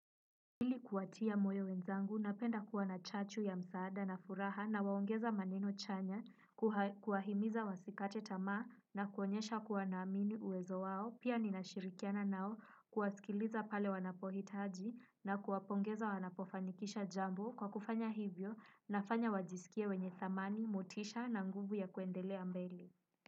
Ili kuwatia moyo wenzangu napenda kuwa na chachu ya msaada na furaha na waongeza maneno chanya, kuwahimiza wasikate tamaa na kuonyesha kuwa naamini uwezo wao, pia ninashirikiana nao kuwasikiliza pale wanapohitaji na kuwapongeza wanapofanikisha jambo kwa kufanya hivyo nafanya wajisikie wenye dhamani, motisha na nguvu ya kuendelea mbele.